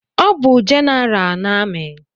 Ọ bụ General na amị